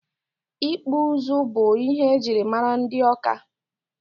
Ịkpụ ụzụ bụ ihe ejiri mara ndị Ọka.